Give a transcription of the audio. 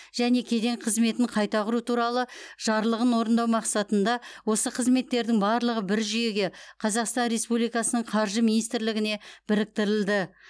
және кеден қызметін қайта құру туралы жарлығын орындау мақсатында осы қызметтердің барлығы бір жүйеге қазақстан республикасының қаржы министрлігіне біріктірілді